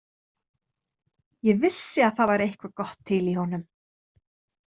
Ég vissi að það væri eitthvað gott til í honum.